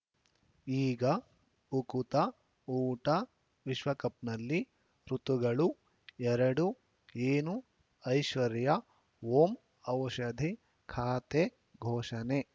ಈಗ ಉಕುತ ಊಟ ವಿಶ್ವಕಪ್‌ನಲ್ಲಿ ಋತುಗಳು ಎರಡು ಏನು ಐಶ್ವರ್ಯಾ ಓಂ ಔಷಧಿ ಖಾತೆ ಘೋಷಣೆ